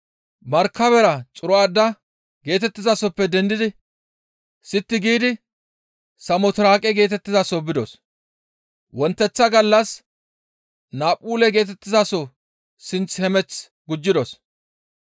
Markabera Xiro7aada geetettizasoppe dendidi sitti giidi Samotiraaqe geetettizaso bidos; wonteththa gallas Naaphule geetettizaso sinth hemeth gujjidos.